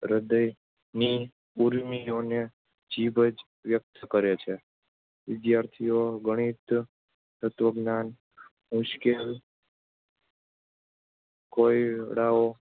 હૃદયની ઊર્મિઓને જીભ જ વ્યક્ત કરે છે. વિદ્યાર્થીઓ ગણિત તત્ત્વજ્ઞાન મુશ્કેલ કોયડાઓ